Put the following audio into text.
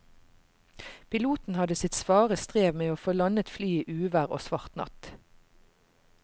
Piloten hadde sitt svare strev med å få landet flyet i uvær og svart natt.